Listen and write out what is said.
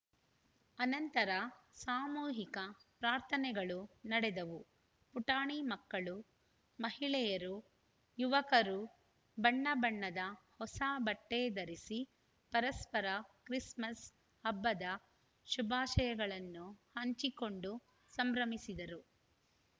ಅನಂತರ ಸಾಮೂಹಿಕ ಪ್ರಾರ್ಥನೆಗಳು ನಡೆದವು ಪುಟಾಣಿ ಮಕ್ಕಳು ಮಹಿಳೆಯರು ಯುವಕರು ಬಣ್ಣ ಬಣ್ಣದ ಹೊಸ ಬಟ್ಟೆಧರಿಸಿ ಪರಸ್ಪರ ಕ್ರಿಸ್‌ಮಸ್‌ ಹಬ್ಬದ ಶುಭಾಶಯಗಳನ್ನು ಹಂಚಿಕೊಂಡು ಸಂಭ್ರಮಿಸಿದರು